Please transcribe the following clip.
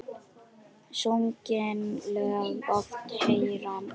Sungin lög oft heyra má.